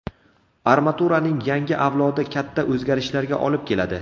Armaturaning yangi avlodi katta o‘zgarishlarga olib keladi.